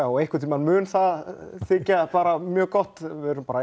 og einhvern tíma mun það þykja mjög gott við erum bara